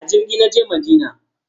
A jirgi na je Madina.